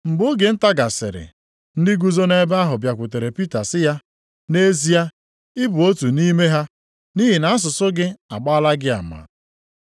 Mgbe oge nta gasịrị, ndị guzo nʼebe ahụ bịakwutere Pita sị ya, “Nʼezie, ịbụ otu nʼime ha, nʼihi na asụsụ gị agbaala gị ama.”